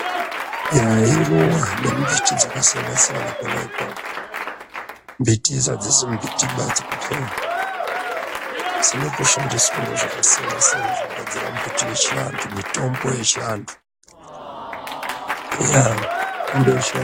Yaa, iruwa nemimbiti dzakasiyana-siyana apapo. Mbitidzo adzisi mbitiba dzekuphera, dzinotoshandiswawo zvakasiyana-siyana zvekugadzira mbiti, mitombo yechiantu yaa mitombo yechiantu.